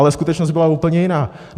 Ale skutečnost byla úplně jiná.